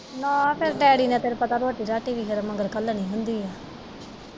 ਨਾ ਫੇਰ ਡੈਡੀ ਨੇ ਤੈਨੂੰ ਪਤਾ ਫੇਰ ਰੋਟੀ-ਰਾਟੀ ਵੀ ਮਗਰ ਮਗਰ ਘੱਲਣੀ ਹੁੰਦੀ ਐ।